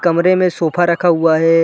कमरे में सोफा रखा हुआ हैं।